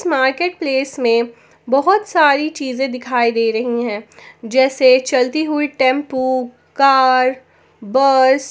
marketplace में बहोत सारी चीजें दिखाई दे रही है जैसे चलती हुई टेंपो कार बस --